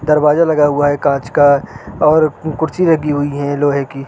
दरवाज़ा लगा हुआ है कांच का और कुर्सी लगी हुई है लोहे की।